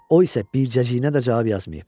O isə bircəciyinə də cavab yazmayıb.